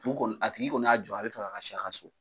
U kɔni a tigi kɔni y'a jɔ a be fɛ ka si a ka so